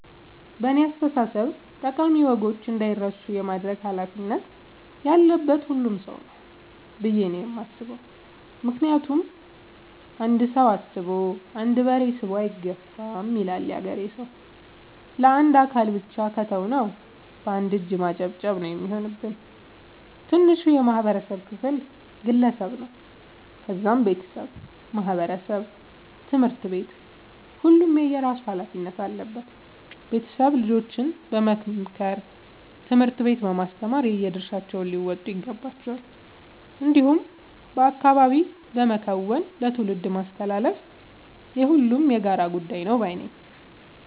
በእኔ አስተሳሰብ ጠቃሚ ወጎች እንዳይረሱ የማድረግ ኃላፊነት ያለበት ሁሉም ሰው ነው። ብዬ ነው የማስበው ምክንያቱም "አንድ ሰው አስቦ አንድ በሬ ስቦ አይገፋም " ይላል ያገሬ ሰው። ለአንድ አካል ብቻ ከተው ነው። በአንድ እጅ ማጨብጨብ ነው የሚሆንብን። ትንሹ የማህበረሰብ ክፍል ግለሰብ ነው ከዛም ቤተሰብ ማህበረሰብ ትምህርት ቤት ሁሉም የየራሱ ኃላፊነት አለበት ቤተሰብ ልጆችን በመምከር ትምህርት ቤት በማስተማር የየድርሻቸውን ሊወጡ ይገባቸዋል። እንዲሁም በአካባቢ በመከወን ለትውልድ ማስተላለፍ የሁሉም የጋራ ጉዳይ ነው ባይነኝ።